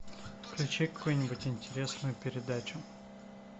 включи какую нибудь интересную передачу